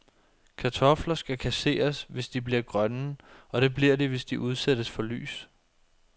Kartofler skal kasseres, hvis de bliver grønne, og det bliver de, hvis de udsættes for lys.